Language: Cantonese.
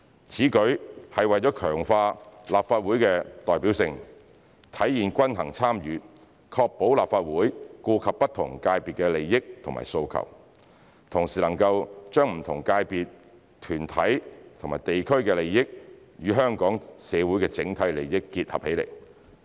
此舉是為了強化立法會的代表性，體現均衡參與，確保立法會顧及不同界別的利益和訴求，同時能夠將不同界別、團體和地區的利益與香港社會的整體利益結合起來。